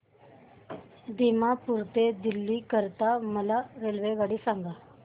दिमापूर ते दिल्ली करीता मला रेल्वेगाडी सांगा